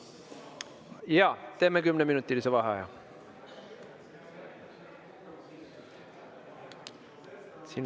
Jaa, teeme kümneminutilise vaheaja.